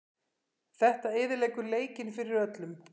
Þetta eyðileggur leikinn fyrir öllum.